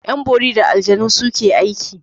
Yan bori da aljanu suke aiki.